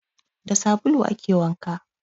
Da sabulu ake wanka